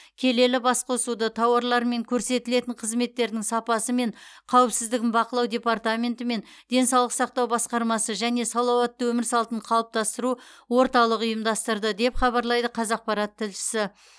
келелі басқосуды тауарлар мен көрсетілетін қызметтердің сапасы мен қауіпсіздігін бақылау департаментенті мен денсаулық сақтау басқармасы және салауатты өмір салтын қалыптастыру орталығы ұйымдастырды деп хабарлайды қазақпарат тілшісі